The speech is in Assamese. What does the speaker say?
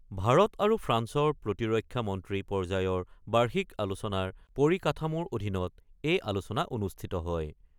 ভাৰত আৰু ফ্ৰান্সৰ প্ৰতিৰক্ষা মন্ত্ৰী পৰ্যায়ৰ বাৰ্ষিক আলোচনাৰ পৰিকাঠামোৰ অধীনত এই আলোচনা অনুষ্ঠিত হয়।